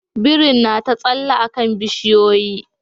Birin na ta tsalle a kan bishiyoyi